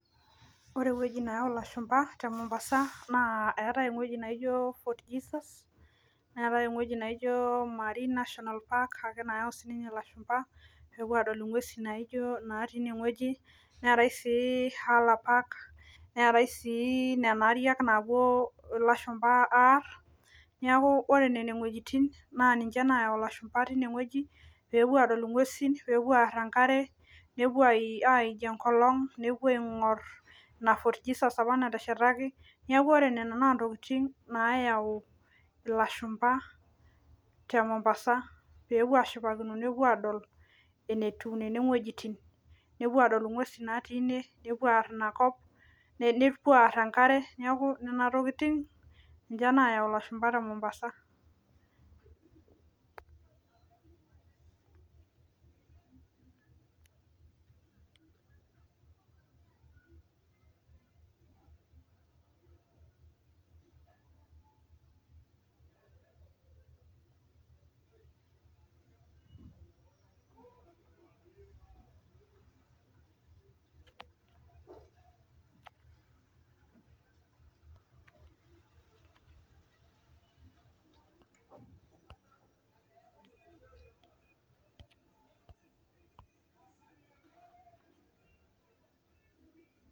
Ore ewoji neyau ilashumba temombasa naa eetai ewoji naijo fort Jesus, neetai ewoji naijo marine nashional Park ake sininye nayau ilashumba peepuo aadol inkuesi natii inewoji, neetai sii haler Park, neetai sii nena ariak napuo ilashumba aar. Neeku nene wojitin nayau ilashumba tinewoji, pepuo aadol inkuesin peepuo aar enkare, nepuo aaij enkolong',nepuo ainkor ina Fort Jesus apa nateshetaki neeku ore nena naa intokitin naayau ilashumba temombasa, peepuo ashipakino nepuo aadol enetiu nene wojitin. Nepuo aadol inkuesi natii ine, nepuo aar ina kop, nepuo aar enkare. Neeku nena tokitin nayau ilashumba temombasa.